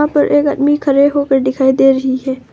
पर एक आदमी खड़े होकर दिखाई दे रही है।